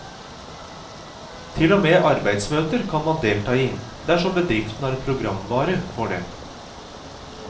Til og med arbeidsmøter kan man delta i, dersom bedriften har programvare for det.